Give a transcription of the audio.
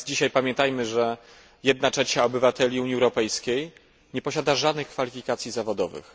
Pamiętajmy, że jedna trzecia obywateli Unii Europejskiej nie posiada żadnych kwalifikacji zawodowych.